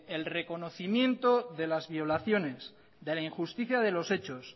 el reconocimiento de las violaciones de la injusticia de los hechos